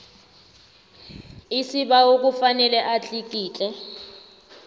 isibawo kufanele atlikitle